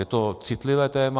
Je to citlivé téma.